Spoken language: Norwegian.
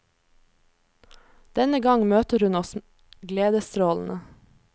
Denne gang møter hun oss gledesstrålende.